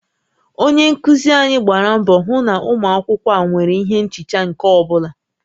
Onye nkuzi anyị gbara mbọ hụ na ụmụ akwụkwọ a nwere ihe nchicha nke ọ bụla